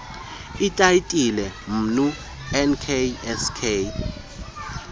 itayitile mnu nksk